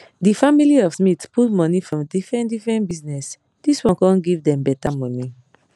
di family of smith put money for different different bizness dis one come give dem better money